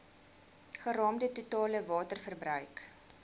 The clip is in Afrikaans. geraamde totale waterverbruik